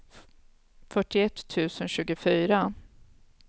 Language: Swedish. fyrtioett tusen tjugofyra